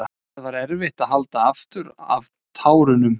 Það var erfitt að halda aftur af tárunum.